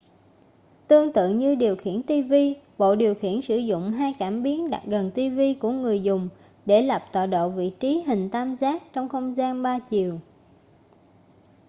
tương tự như điều khiển ti vi bộ điều khiển sử dụng hai cảm biến đặt gần ti vi của người dùng để lập tọa độ vị trí hình tam giác trong không gian ba chiều